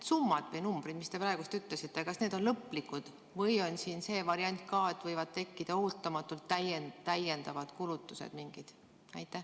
Kas need numbrid, mis te praegu ütlesite, on lõplikud või on siin see variant ka, et võivad ootamatult tekkida mingid täiendavad kulutused?